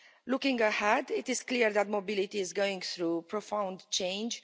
Looking ahead, it is clear that mobility is going through profound change.